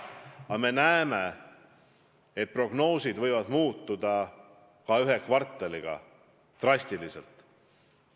Samas me näeme, et prognoosid võivad ka ühe kvartaliga drastiliselt muutuda.